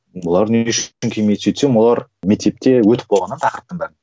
олар не үшін келмейді сөйтсем олар мектепте өтіп қойған да тақырыптың бәрін